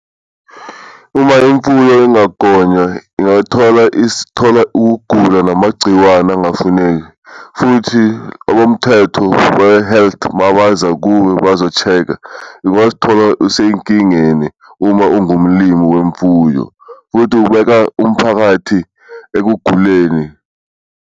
Uma imfuyo ingagonywa ingathola isithola ukugula namagciwane angafuneki futhi abomthetho we-health mabaza kuwe bazo-check-a ungazithola usenkingeni uma ungumlimi wemfuyo, futhi ubeka umphakathi ekuguleni.